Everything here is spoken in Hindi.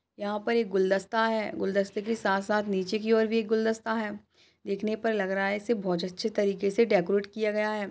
यहाँ पर एक गुलदस्ता है। गुलदस्ते के साथ-साथ नीचे की ओर भी एक गुलदस्ता है। देखने पे लग रहा हैं इसे बोहोत अच्छे से डेकोरेट किया गया है।